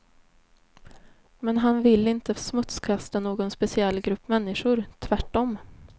Men han vill inte smutskasta någon speciell grupp människor, tvärtom.